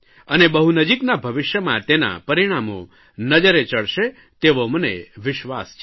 અને બહુ નજીકના ભવિષ્યમાં તેનાં પરિણામો નજરે ચડશે તેવો મને વિશ્વાસ છે